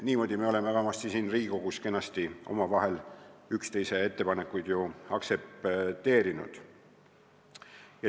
Niimoodi me oleme enamasti siin Riigikogus kenasti üksteise ettepanekuid ju aktsepteerinud.